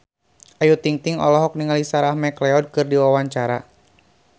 Ayu Ting-ting olohok ningali Sarah McLeod keur diwawancara